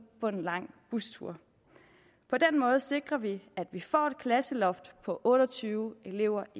på en lang bustur på den måde sikrer vi at vi får et klasseloft på otte og tyve elever